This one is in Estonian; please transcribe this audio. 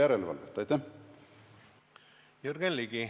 Jürgen Ligi, palun!